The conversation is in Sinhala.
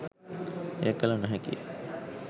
එය කළ නොහැකි ය.